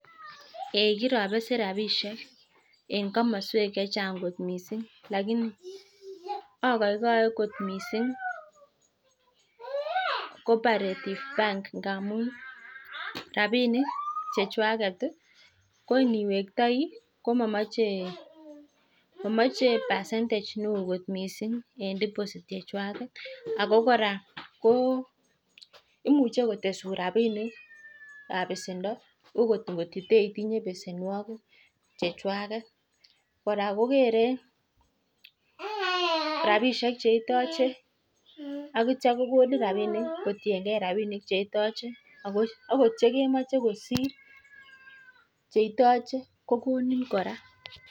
Eee kirabesen rapinik eng komoswek chechan'g kot mising. Lakini agoigoi cooperative bank ngamu rapinik chekwanget ko niwektoi ko mamoche[ics] percentage neo kot mising en deposit chekwanget. Ako kora imuchei kotesun rapinikab besendo okot kototoitinye besenwogik chechwaget. Kora kokerei rapinik cheitoche akitio kokitio kokonin rapinik kotiengei ak cheitoche . Akot chekemoche kosir cheitoche kokonin kora.